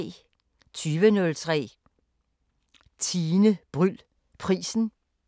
20:03: Tine Bryld Prisen